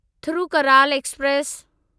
Thirukkural express